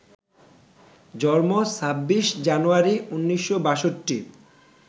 জন্ম ২৬ জানুয়ারি ১৯৬২